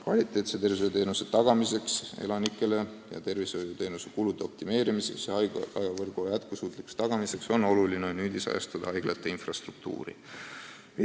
Kvaliteetse arstiabi tagamiseks, tervishoiuteenuste kulude optimeerimiseks ja haiglavõrgu jätkusuutlikkuse kindlustamiseks on hädavajalik haiglate infrastruktuuri nüüdisajastada.